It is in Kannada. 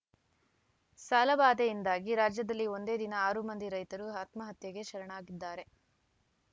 ಸಾಲಬಾಧೆಯಿಂದಾಗಿ ರಾಜ್ಯದಲ್ಲಿ ಒಂದೇ ದಿನ ಆರು ಮಂದಿ ರೈತರು ಆತ್ಮಹತ್ಯೆಗೆ ಶರಣಾಗಿದ್ದಾರೆ